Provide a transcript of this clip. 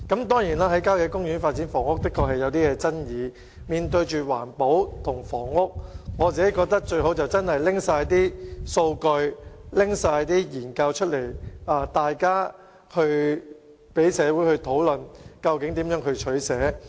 當然，在郊野公園發展房屋確實存在爭議，面對環保與房屋之間的兩難，我認為政府應公開所有數據和研究，讓社會大眾一起討論該如何取捨。